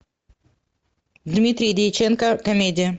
дмитрий дьяченко комедия